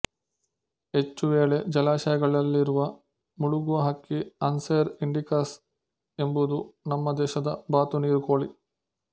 ಹೆಚ್ಚು ವೇಳೆ ಜಲಾಶಯಗಳಲ್ಲಿರುವ ಮುಳುಗುವ ಹಕ್ಕಿ ಆನ್ಸೆರ್ ಇಂಡಿಕಸ್ ಎಂಬುದು ನಮ್ಮ ದೇಶದ ಬಾತು ನೀರು ಕೋಳಿ